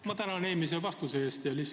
Ma tänan eelmise vastuse eest!